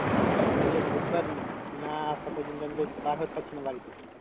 হ্যাঁ তাহলে বুধবার না আসা পর্যন্ত আমি তো বার হতে পারছি না বাড়ি থেকে।